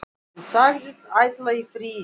Hann sagðist ætla í frí til